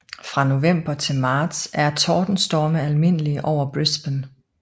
Fra november til marts er tordenstorme almindelige over Brisbane